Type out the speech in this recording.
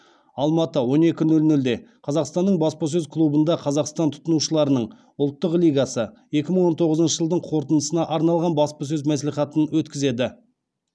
алматы он екі нөл нөлде қазақстанның баспасөз клубында қазақстан тұтынушыларының ұлттық лигасы екі мың он тоғызыншы жылдың қорытындысына арналған баспасөз мәслихатын өткізеді